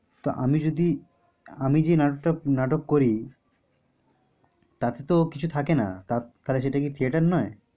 তো আমি যদি আমি যে নাটক করি তাতে তো কিছু থাকে না। তাহলে সেটা কি theater নয়?